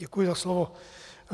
Děkuji za slovo.